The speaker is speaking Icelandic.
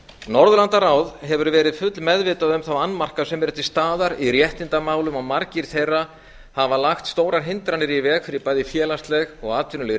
norðurlandaráð hefur verið full meðvitað um þá annmarka sem eru til staðar í réttindamálum og margir þeirra hafa lagt stórar hindranir í veg fyrir bæði félagsleg og atvinnuleg